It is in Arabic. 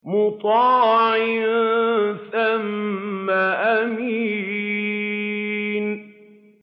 مُّطَاعٍ ثَمَّ أَمِينٍ